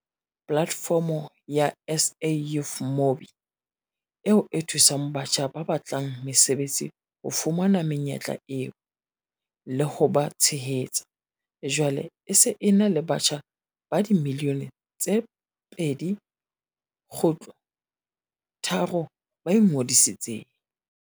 Polatefomo ya SAYouth.mobi, eo e thusang batjha ba batlang mesebetsi ho fumana menyetla eo, le ho ba tshehetsa, jwale e se e na le batjha ba dimilione tse 2.3 ba ingodisitseng.